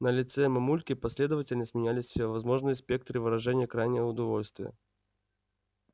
на лице мамульки последовательно сменялись всевозможные спектры выражения крайнего удовольствия